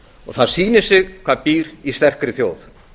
og það sýnir sig hvað býr í sterkri þjóð